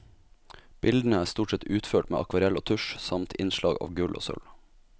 Bildene er stort sett utført med akvarell og tusj, samt innslag av gull og sølv.